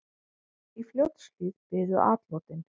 Í Fljótshlíð biðu atlotin.